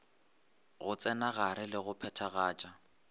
go tsenagare le go phathagatša